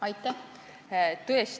Aitäh!